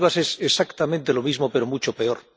Maldivas es exactamente lo mismo, pero mucho peor.